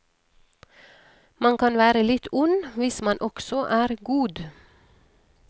Man kan være litt ond hvis man også er god.